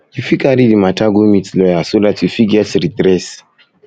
you fit um carry the matter go meet lawyer so dat um you fit get redress um